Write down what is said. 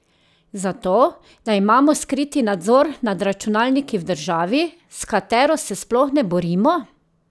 Zato, da imamo skriti nadzor nad računalniki v državi, s katero se sploh ne borimo?